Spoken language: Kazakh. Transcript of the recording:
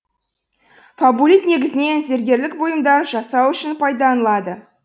фабулит негізінен зергерлік бұйымдар жасау үшін пайдаланылады